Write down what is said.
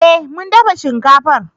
Eh mun dafa shinkafar